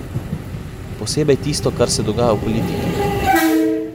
Posebej tisto, kar se dogaja v politiki.